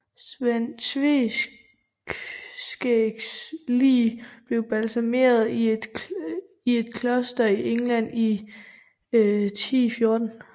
Sven Tveskægs lig blev balsameret i et kloster i England i 1014